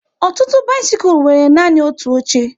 Ọtụtụ bisikul nwere nanị otu oche